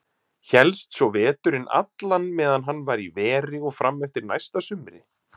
Hélst svo veturinn allan meðan hann var í veri og fram eftir næsta sumri.